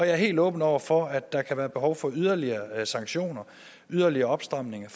er helt åben over for at der kan være behov for yderligere sanktioner yderligere opstramninger